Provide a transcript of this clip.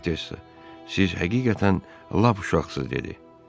Vikontessa, siz həqiqətən lap uşaqsınız dedi.